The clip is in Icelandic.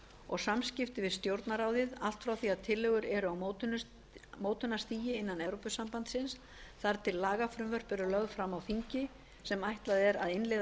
og samskipti við stjórnarráðið allt frá því að tillögur eru á mótunarstigi innan evrópusambandsins þar til lagafrumvörp eru lögð fram á þingi sem er ætlað að innleiða